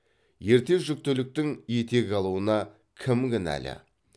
ерте жүктіліктің етек алуына кім кінәлі